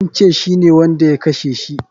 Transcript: Sun ce shine wanda ya kashe shi.